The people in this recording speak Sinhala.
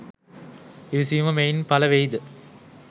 ඉවසීම මෙයින් පළ වෙයිද?